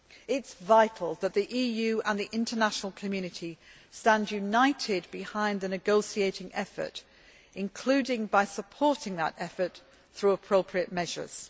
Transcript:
It is vital that the EU and the international community stand united behind the negotiating effort, including by supporting that effort through appropriate measures.